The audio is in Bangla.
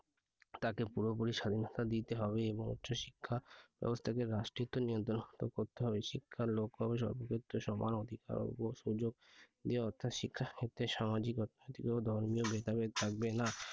তাকে পুরোপুরি স্বাধীনতা দিতে হবে এবং উচ্চ শিক্ষা ব্যবস্থাকে রাষ্ট্রীয় নিয়ন্ত্রণ করতে হবে শিক্ষার লক্ষ্য হবে সর্বক্ষেত্রে সমান অধিকার ও সুযোগ দিয়ে অর্থাৎ শিক্ষাক্ষেত্রে সামাজিকতা ও কোন ধর্মীয় ভেদাভেদ থাকবে না।